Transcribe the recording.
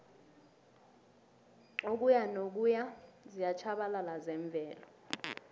ukuyanokuya ziyatjhabalala zemvelo